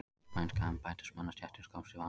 Spænska embættismannastéttin komst í vanda.